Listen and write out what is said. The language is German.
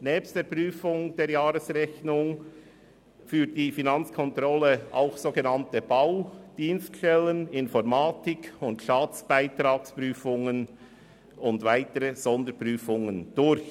Nebst der Prüfung der Jahresrechnung führt die Finanzkontrolle auch Bau-, Dienststellen-, Informatik-, Staatsbeitragsprüfungen und weitere Sonderprüfungen durch.